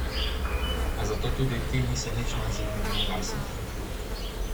A zato tudi ti niso nič manj zaljubljeni vase.